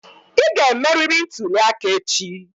Ị ga-emerịrị ntuli aka echi!